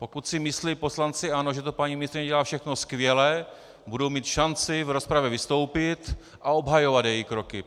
Pokud si myslí poslanci ANO, že to paní ministryně dělá všechno skvěle, budou mít šanci v rozpravě vystoupit a obhajovat její kroky.